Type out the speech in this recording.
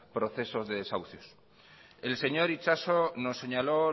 procesos de desahucios el señor itxaso nos señaló